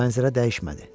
Mənzərə dəyişmədi.